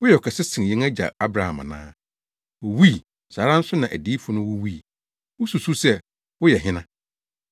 Woyɛ ɔkɛse sen yɛn agya Abraham ana? Owui; saa ara nso na adiyifo no wuwui. Wususuw sɛ woyɛ hena?”